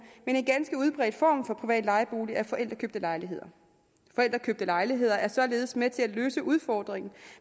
men en ganske udbredt form for privat lejebolig er forældrekøbte lejligheder forældrekøbte lejligheder er således med til at løse udfordringen